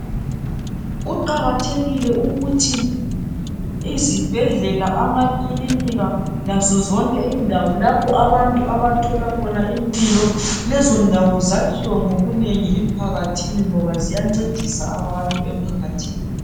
Kuqakathekile ukuthi izibhedlela amakilinika lazo zonke indawo lapho abantu abathola khona impilo lezo ndawo zakhiwe ngobunengi emphakathini ngoba ziyancedisa abantu emphakathini.